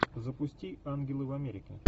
запусти ангелы в америке